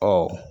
Ɔ